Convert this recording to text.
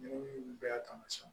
bɛɛ y'a taamasiyɛnw